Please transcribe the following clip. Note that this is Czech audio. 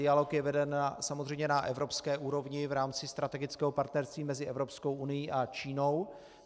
Dialog je veden samozřejmě na evropské úrovni v rámci strategického partnerství mezi Evropskou unií a Čínou.